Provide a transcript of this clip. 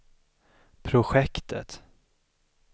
projektet